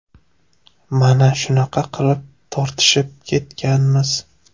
Mana shunaqa qilib tortishib ketganmiz.